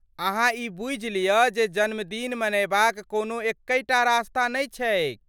अहाँ ई बुझि लिअ जे जन्मदिन मनयबाक कोनो एक्कहि टा रस्ता नहि छैक।